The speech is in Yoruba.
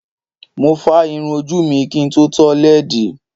Mo fá irun ojú mi kí n tó tọ́ lẹ́ẹ̀dì.